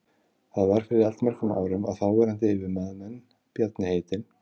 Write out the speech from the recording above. Það var fyrir allmörgum árum að þáverandi yfirmaður minn, Bjarni heitinn